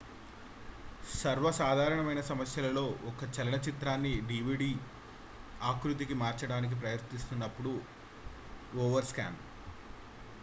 సర్వసాధారణమైన సమస్యలలో 1 చలన చిత్రాన్ని డివిడి ఆకృతికి మార్చడానికి ప్రయత్నిస్తున్నప్పుడు ఓవర్స్కాన్